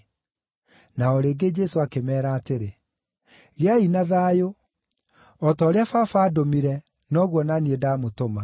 Na o rĩngĩ Jesũ akĩmeera atĩrĩ, “Gĩai na thayũ! O ta ũrĩa Baba aandũmire, noguo o na niĩ ndamũtũma.”